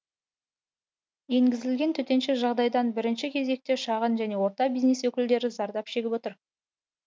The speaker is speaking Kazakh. енгізілген төтенше жағдайдан бірінші кезекте шағын және орта бизнес өкілдері зардап шегіп отыр